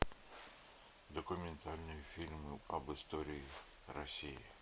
документальные фильмы об истории россии